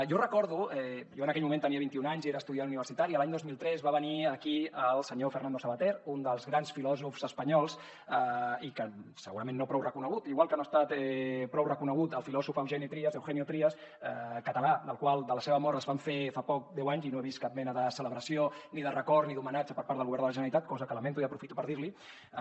jo recordo jo en aquell moment tenia vint i un anys i era estudiant universitari que l’any dos mil tres va venir aquí el senyor fernando savater un dels grans filòsofs espanyols i segurament no prou reconegut igual que no ha estat prou reconegut el filòsof eugeni trías eugenio trías català de la mort del qual va fer fa poc deu anys i no he vist cap mena de celebració ni de record ni d’homenatge per part del govern de la generalitat cosa que lamento i aprofito per dir l’hi